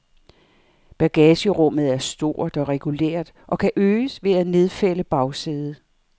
Bagagerummet er stort og regulært og kan øges ved at nedfælde bagsædet.